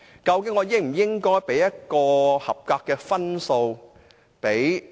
究竟我應否給予預算案合格的分數呢？